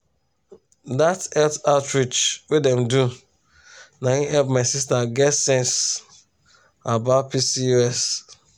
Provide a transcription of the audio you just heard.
dat health outreach wey dem do na him help my sister get sense about pcos.